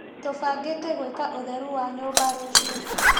Tũbangĩte gwĩka ũtheru wa nyũmba rũciũ.